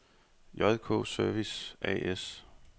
JK Service A/S